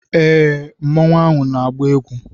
Ee, mmanu ahụ na-agba egwu.